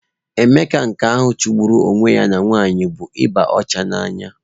Emeka nke ahụ chụgburu onwe ya na nwanyị bụ ịba ọcha n'anya.